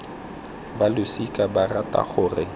ba losika ba rata gore